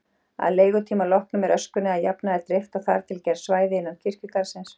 Að leigutíma loknum er öskunni að jafnaði dreift á þar til gerð svæði innan kirkjugarðsins.